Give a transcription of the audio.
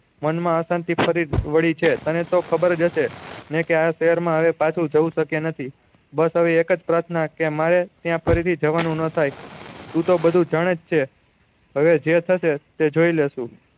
મન માં અશાંતિ ફરીદ વળી છે તને તો ખબર જ હશે મેં કે આ શહર માં હવે પાછું જાઉં શક્ય નથી બસ હવે એકજ પ્રાથના હે કે મારે ત્યયે ફરી થી જવાનું ન થાય તું તો બધું જાણે છે હવે જે થશે તે જોઈ લેશું